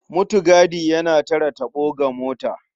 Mutigadi yana tare taɓo ga mota.